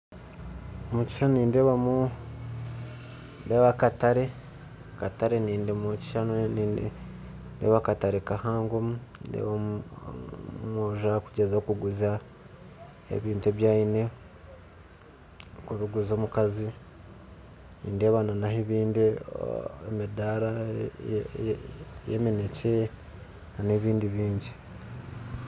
omukishushani nindeebamu akatare ndeeba akatare kahangomu, ndeeba omwojo arikugyezaho kuguza ebintu ebi aine akubiguza omukazi nindeeba naha ebindi amidaara y'eminekye n'ebindi bingi.